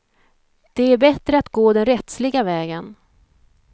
Det är bättre att gå den rättsliga vägen.